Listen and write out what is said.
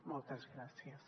moltes gràcies